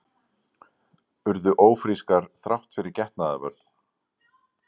Urðu ófrískar þrátt fyrir getnaðarvörn